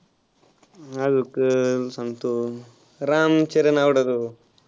अजून सांगतो रामचरण आवडतो.